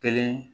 Kelen